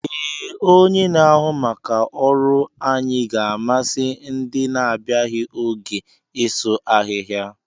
Ee, onye na-ahụ maka ọrụ anyị ga-amasị ndị na-abịaghi oge isu ahịhịa.